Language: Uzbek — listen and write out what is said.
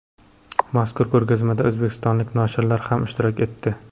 Mazkur ko‘rgazmada o‘zbekistonlik noshirlar ham ishtirok etdi.